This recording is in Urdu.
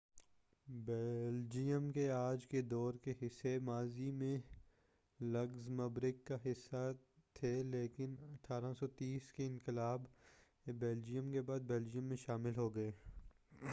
بیلجیئم کے آج کے دور کے حصے ماضی میں لگزمبرگ کا حصہ تھے لیکن 1830 کے انقلابِ بیلجیئم کے بعد بیلجیئم میں شامل ہو گئے